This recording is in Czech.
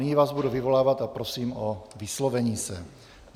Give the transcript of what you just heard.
Nyní vás budu vyvolávat a prosím o vyslovení se.